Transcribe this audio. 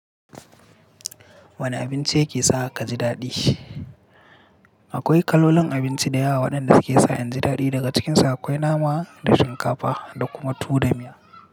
Wane abinci yake sa ka ji daɗi? Akwai kalolin abinci da yawa waɗanda suke sa in ji daɗi. Daga cikinsa akwai nama da shinkafa da kuma tuwo da miya.